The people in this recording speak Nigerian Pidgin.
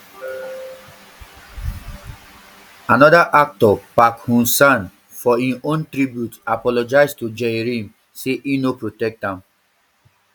anoda actor park ho san for im own tribute apologise to jae rim say e no protect am